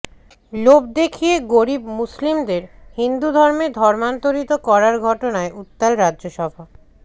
লোভ দেখিয়ে গরীব মুসলিমদের হিন্দু ধর্মে ধর্মান্তরিত করার ঘটনায় উত্তাল রাজ্যসভা